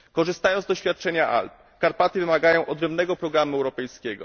Korzystając z doświadczenia Alp, Karpaty wymagają odrębnego programu europejskiego.